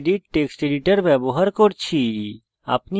gedit text editor ব্যবহার করছি